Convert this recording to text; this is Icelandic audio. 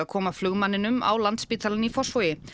koma flugmanninum á Landspítalann í Fossvogi